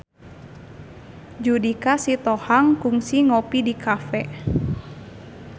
Judika Sitohang kungsi ngopi di cafe